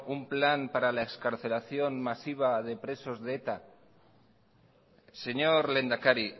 un plan para la excarcelación masiva de presos de eta señor lehendakari